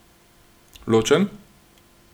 Ločen?